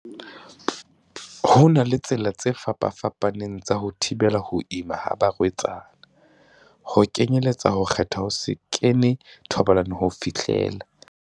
Ho na le ditsela tse fapafa paneng tsa ho thibela ho ima ha ba rwetsana, ho kenyeletsa ho kgetha ho se kene thobalanong ho fihlela.